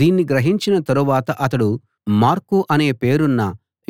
దీన్ని గ్రహించిన తరువాత అతడు మార్కు అనే పేరున్న